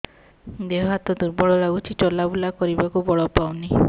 ଦେହ ହାତ ଦୁର୍ବଳ ଲାଗୁଛି ଚଲାବୁଲା କରିବାକୁ ବଳ ପାଉନି